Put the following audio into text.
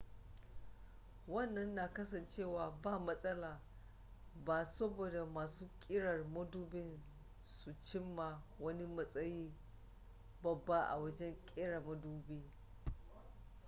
wannan na kasancewa ba matsala ba saboda masu ƙirar madubin sun cimma wani matsayi babba a wajen ƙera madubi